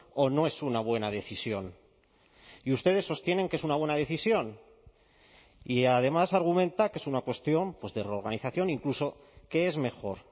o no es una buena decisión y ustedes sostienen que es una buena decisión y además argumenta que es una cuestión pues de reorganización incluso que es mejor